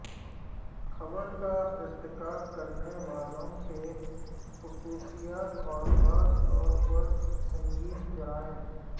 قبر کا ارتکاب کرنے والوں کی خصوصیات اور خاص طور پر سنگین جرائم